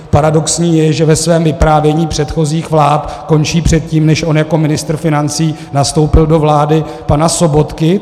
Paradoxní je, že ve svém vyprávění předchozích vlád končí předtím, než on jako ministr financí nastoupil do vlády pana Sobotky.